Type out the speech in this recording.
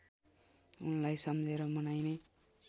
उनलाई सम्झेर मनाईने